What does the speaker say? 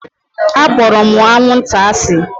Akpọrọ m anwụnta asị